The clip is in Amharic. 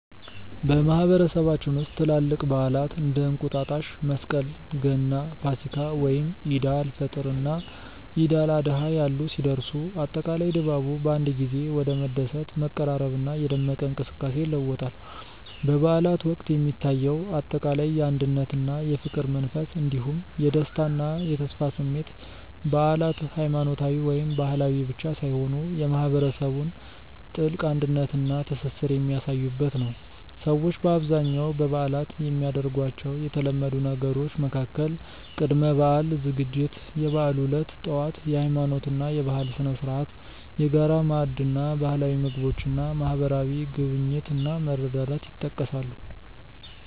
በማህበረሰባችን ውስጥ ትላልቅ በዓላት (እንደ እንቁጣጣሽ፣ መስቀል፣ ገና፣ ፋሲካ፣ ወይም ዒድ አል-ፈጥር እና ዒድ አል-አድሃ ያሉ) ሲደርሱ፣ አጠቃላይ ድባቡ በአንድ ጊዜ ወደ መደሰት፣ መቀራረብና የደመቀ እንቅስቃሴ ይለወጣል። በበዓላት ወቅት የሚታየው አጠቃላይ የአንድነትና የፍቅር መንፈስ እንዲሁም የደስታና የተስፋ ስሜት በዓላት ሃይማኖታዊ ወይም ባህላዊ ብቻ ሳይሆኑ የማህበረሰቡን ጥልቅ አንድነትና ትስስር የሚያሳዩበት ነው። ሰዎች በአብዛኛው በበዓላት የሚያደርጓቸው የተለመዱ ነገሮች መካከል ቅድመ-በዓል ዝግጅት፣ የበዓሉ ዕለት ጠዋት (የሃይማኖትና የባህል ስነ-ስርዓት)፣የጋራ ማዕድ እና ባህላዊ ምግቦች እና ማህበራዊ ጉብኝት እና መረዳዳት ይጠቀሳሉ።